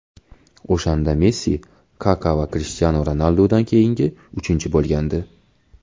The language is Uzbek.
O‘shanda Messi Kaka va Krishtianu Ronaldudan keyin uchinchi bo‘lgandi.